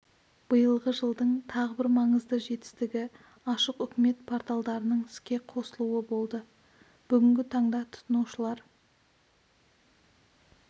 биылғы жылдың тағы бір маңызды жетістігі ашық үкімет порталдарының іске қосылуы болды бүгінгі таңда тұтынушылар